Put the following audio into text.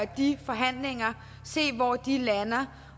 de forhandlinger og se hvor de lander